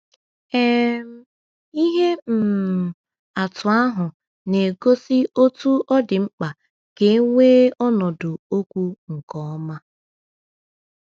um Ihe um atụ ahụ na-egosi otú ọ dị mkpa ka e nwee ọnọdụ okwu nke ọma.